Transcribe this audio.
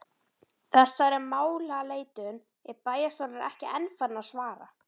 Þessari málaleitun er bæjarstjórnin ekki enn farin að svara.